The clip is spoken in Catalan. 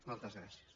moltes gràcies